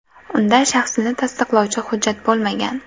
Unda shaxsini tasdiqlovchi hujjat bo‘lmagan.